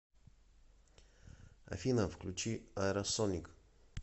афина включи аэросоник